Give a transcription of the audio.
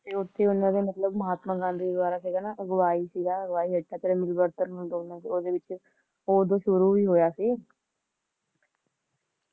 ਤੇ ਓਥੇ ਉਨ੍ਹਾਂ ਦੇ ਮਤਲਬ ਮਹਾਤਮਾ ਗਾਂਧੀ ਦ੍ਵਾਰਾ ਸੀਗਾ ਨਾ ਅਗਵਾਈ ਸੀਗਾ ਅਗਵਾਈ ਅੱਡਾ ਮਿਲਵਰਤਣ ਵਿਚ ਦੋਨਾਂ ਦਾ ਤੇ ਉਹ ਓਦੋਂ ਸ਼ੁਰੂ ਹੀ ਹੋਇਆ ਸੀ